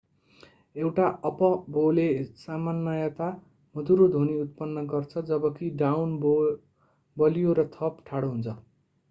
एउटा अप-बोले सामान्यतया मधुरो ध्वनि उत्पन्न गर्छ जबकि डाउन बो बलियो र थप ठाडो हुन्छ